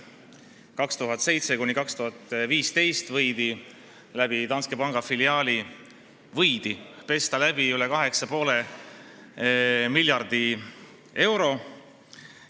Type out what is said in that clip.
2007–2015 võidi läbi Danske Banki filiaali n-ö läbi pesta üle kaheksa ja poole miljardi euro.